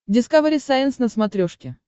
дискавери сайенс на смотрешке